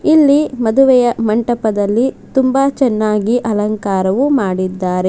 ಇಲ್ಲಿ ಮದುವೆಯ ಮಂಟಪದಲ್ಲಿ ತುಂಬಾ ಚೆನ್ನಾಗಿ ಅಲಂಕಾರವು ಮಾಡಿದ್ದಾರೆ.